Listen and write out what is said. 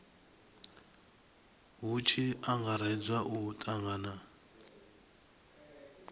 hu tshi angaredzwa u tangana